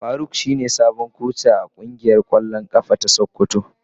Faruk shine sabon koci a kungiyar kwallon kafa ta sokoto.